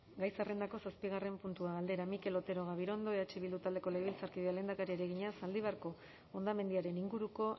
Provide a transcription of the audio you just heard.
gai zerrendako zazpigarren puntua galdera mikel otero gabirondo eh bildu taldeko legebiltzarkideak lehendakariari egina zaldibarko hondamendiaren inguruko